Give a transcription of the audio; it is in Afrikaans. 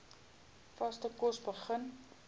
vaste kos begin